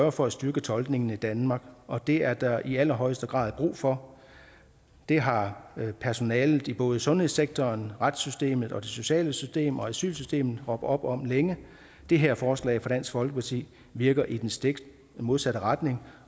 af for at styrke tolkningen i danmark og det er der i allerhøjeste grad brug for det har personalet i både sundhedssektoren retssystemet det sociale system og asylsystemet råbt op om længe det her forslag fra dansk folkeparti virker i den stik modsatte retning